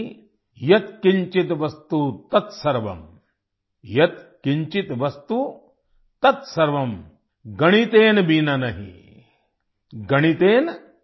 यत किंचित वस्तु तत सर्वं गणितेन बिना नहि